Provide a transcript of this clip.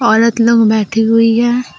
औरत लोग बैठी हुई है।